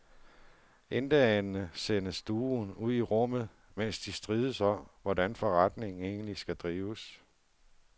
Intetanende sendes duoen ud i rummet, mens de strides om, hvordan forretningen egentlig skal drives.